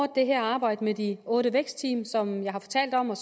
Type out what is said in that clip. det her arbejde med de otte vækstteam som jeg har fortalt om og